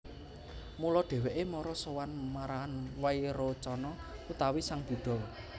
Mula dhèwèké mara sowan marang Wairocana utawi sang Buddha